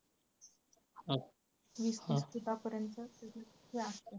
वीस तीस फुटापर्यंत .